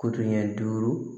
Koɲɛ duuru